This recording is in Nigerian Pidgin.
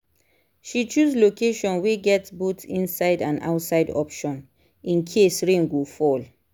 she choose location wey get both inside and outside option in case rain go fall